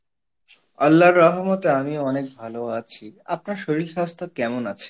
আল্লাহর রহমতে আমিও অনেক ভালো আছি, আপনার শরীর স্বাস্থ্য কেমন আছে?